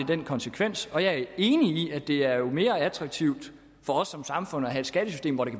den konsekvens og jeg er enig i at det jo er mere attraktivt for os som samfund at have et skattesystem hvor det